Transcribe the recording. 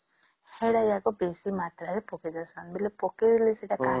ସେଟା ଯାକେ ବେଶୀ ମାତ୍ରା ର ପକେଇଦେଉସନ ବେଳେ ପକେଇଲେ ସେଟା